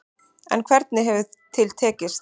En hvernig hefur til tekist.